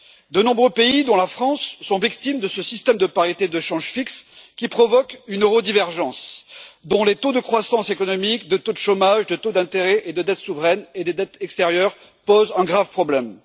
De nombreux pays, dont la France, sont victimes de ce système de parité de change fixe, qui provoque une euro divergence, dont les taux de croissance économique, les taux de chômage, les taux d'intérêt, les dettes souveraines ainsi que les dettes extérieures posent un grave problème.